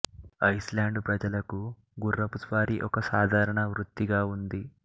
Iceland ప్రజలకు గుర్రపు స్వారీ ఒక సాధారణ వృత్తిగా ఉంది